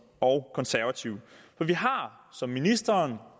og konservative for vi har som ministeren